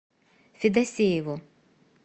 федосееву